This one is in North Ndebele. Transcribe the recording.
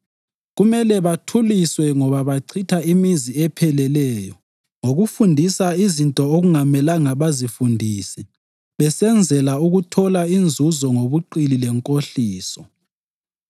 Kumele bathuliswe ngoba bachitha imizi epheleleyo ngokufundisa izinto okungamelanga bazifundise besenzela ukuthola inzuzo ngobuqili lenkohliso.